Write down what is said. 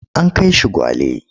An kai shi Gwale.